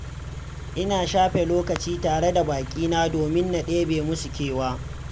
Ina shafe lokaci tare da baƙina domin na ɗebe musu kewa.